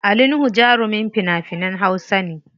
Ali Nuhu jarumin fina finan hausa ne.